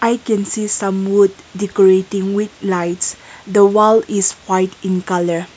i can see some wood decorating with lights the wall is white in colour.